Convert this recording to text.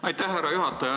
Aitäh, härra juhataja!